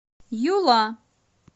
юла